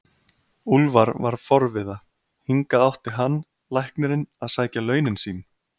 Úlfar var forviða, hingað átti hann, læknirinn, að sækja launin sín!